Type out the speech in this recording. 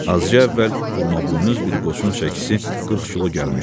Azca əvvəl burmabuynuz bir qoçun çəkisi 40 kilo gəlmişdi.